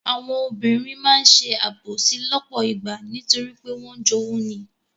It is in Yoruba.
Àwọn obìnrin máa ń ṣe àbòsí lọ́pọ̀ ìgbà nítorí pé wọ́n ń jowú ni.